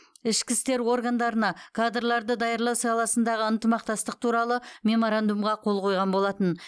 ішкі істер органдарына кадрларды даярлау саласындағы ынтымақтастық туралы меморандумға қол қойған болатын